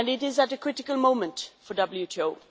It is a critical moment for WTO.